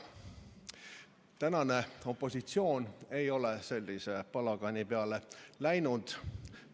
Tänane opositsioon ei ole sellise palagani peale läinud.